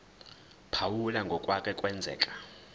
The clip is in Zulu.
phawula ngokwake kwenzeka